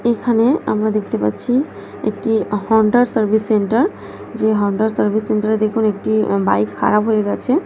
এখানেআমরা দেখতে পাচ্ছি একটি হোন্ডা র সার্ভিস সেন্টার যে হন্ডা সার্ভিস সেন্টার -এ দেখুন একটি বাইক খারাপ হয়ে গেছে।